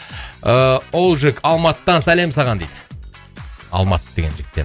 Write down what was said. ыыы олжик алматыдан сәлем саған дейді алмас деген жігіттен